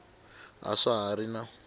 a swa ha ri na